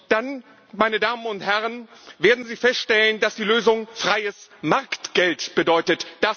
Dann werden Sie feststellen, dass die Lösung freies Marktgeld bedeutet.